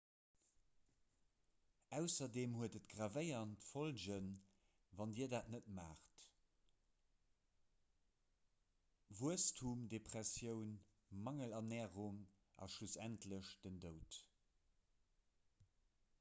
ausserdeem huet et gravéierend follgen wann dir dat net maacht wuesstemdepressioun mangelernärung a schlussendlech den doud